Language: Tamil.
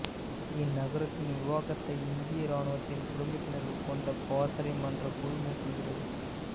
இந்நகரத்தின் நிர்வாகத்தை இந்திய இராணுவத்தின் குடும்பத்தினர்கள் கொண்ட பாசறை மன்றக் குழு மேற்கொள்கிறது